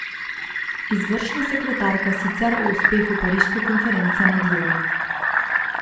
Izvršna sekretarka sicer o uspehu pariške konference ne dvomi.